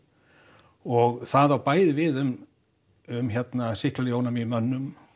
og það á bæði við um um sýklalyfjaónæmi í mönnum